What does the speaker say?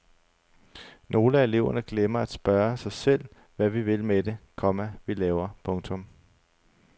Nogle af eleverne glemmer at spørge sig selv hvad vi vil med det, komma vi laver. punktum